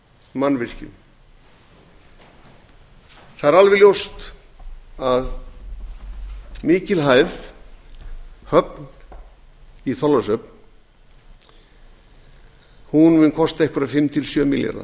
mannvirkjum það er alveg ljóst að mikilhæf höfn í þorlákshöfn mun kosta eina fimm til sjö milljarða